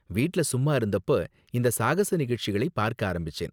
வீட்ல சும்மா இருந்தப்போ இந்த சாகச நிகழ்ச்சிகளை பார்க்க ஆரம்பிச்சேன்!